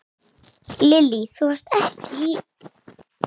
Lillý: Þú varst ekki í?